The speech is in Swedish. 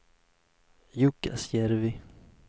Jukkasjärvi